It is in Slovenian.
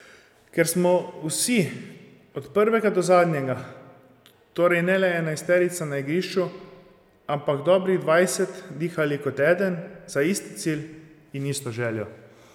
Ker smo vsi od prvega do zadnjega, torej ne le enajsterica na igrišču, ampak dobrih dvajset, dihali kot eden, za isti cilj in isto željo.